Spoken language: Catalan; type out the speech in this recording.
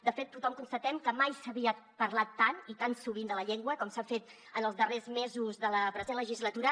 de fet tothom constatem que mai s’havia parlat tant ni tan sovint de la llengua com s’ha fet en els darrers mesos de la present legislatura